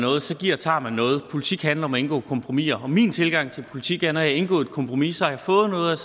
noget så giver og tager man noget politik handler om at indgå kompromiser og min tilgang til politik er at når jeg har indgået et kompromis så har jeg fået noget